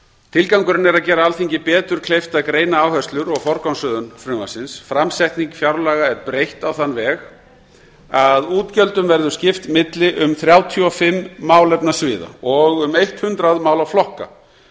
tilgangurinn er að gera alþingi betur kleift að greina áherslur og forgangsröðun frumvarpsins framsetningu fjárlaga er breytt á þann veg að útgjöldum verður skipt milli um þrjátíu og fimm málefnasviða og um hundrað málaflokka